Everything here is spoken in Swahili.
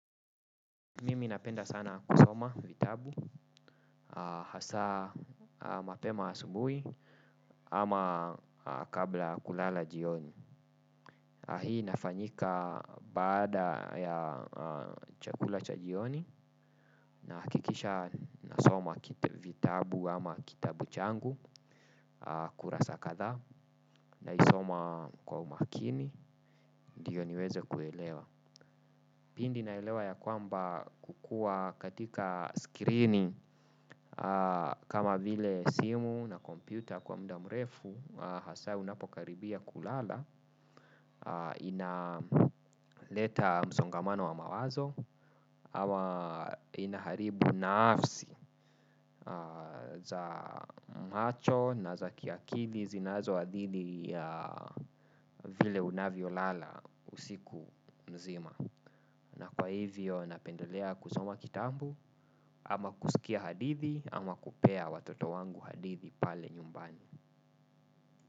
Mimi napenda sana kusoma vitabu, hasaa mapema asubui ama kabla ya kulala jioni. Hii inafanyika baada ya chakula cha jioni nahakikisha nasoma vitabu ama kitabu changu kurasa kadhaa naisoma kwa umakini ndiyo niweze kuelewa. Pindi naelewa ya kwamba kukua katika screen kama vile simu na kompyuta kwa muda mrefu hasaa unapokaribia kulala inaleta msongamano wa mawazo ama inaharibu naafsi za macho na za kiakili zinazoadhidi vile unavyolala usiku mzima. Na kwa hivyo napendolea kusoma kitabu ama kusikia hadithi ama kupea watoto wangu hadithi pale nyumbani.